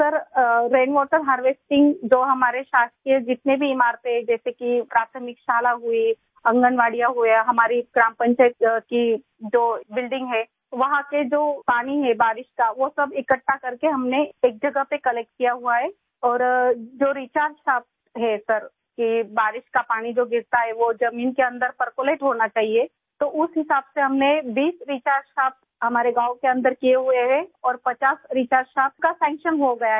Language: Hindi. सर रेनवाटर हार्वेस्टिंग जो हमारे शासकीय जितने भी इमारते हैं जैसे कि प्राथमिक शाला हुई आँगनबाड़ी हुआ हमारी ग्राम पंचायत की जो बिल्डिंग है वहां के जो पानी है बारिश का वो सब इकट्ठा करके हमने एक जगह पर कलेक्ट किया हुआ है और जो रिचार्ज शाफ्ट है सर कि बारिश का पानी जो गिरता है वो जमीन के अन्दर परकोलेट होना चाहिए तो उस हिसाब से हमने 20 रिचार्ज शाफ्ट हमारे गाँव के अन्दर किये हुए हैं और 50 रिचार्ज शाफ्ट का सैंक्शन हो गया है